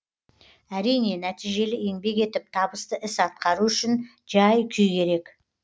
әрине нәтижелі еңбек етіп табысты іс атқару үшін жай күй керек